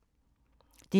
DR1